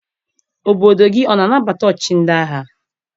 Obodo gị ọ na-anabata ọchịchị ndị agha?